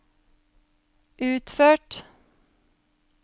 utført